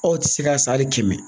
Aw ti se ka san hali kɛmɛ